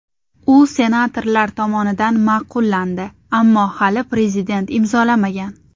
U senatorlar tomonidan ma’qullandi, ammo hali Prezident imzolamagan.